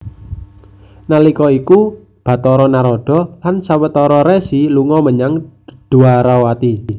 Nalika iku Bathara Narada lan sawetara resi lunga menyang Dwarawati